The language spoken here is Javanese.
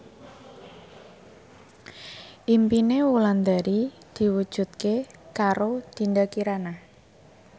impine Wulandari diwujudke karo Dinda Kirana